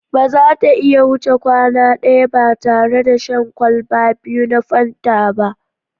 Ba za ta iya wuce kwana ɗaya ba tare da shan kwalba biyu na Fanta ba